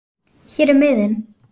Hér er miðinn